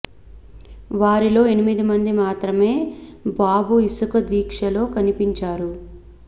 వారిలో ఎనిమిది మంది మాత్రమే బాబు ఇసుక దీక్ష లో కనిపించారు